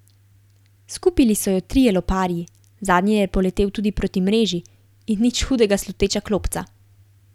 Skupili so jo trije loparji, zadnji je poletel tudi proti mreži, in nič hudega sluteča klopca.